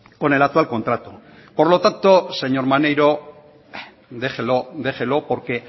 con el actual contrato por lo tanto señor maneiro déjelo déjelo porque